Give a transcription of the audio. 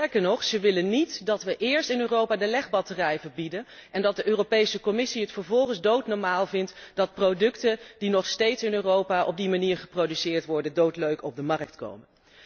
Sterker nog, ze willen niet dat we eerst in Europa de legbatterij verbieden en dat de Europese Commissie het vervolgens doodnormaal vindt dat producten die nog steeds in Europa op die manier geproduceerd worden, doodleuk op de markt komen.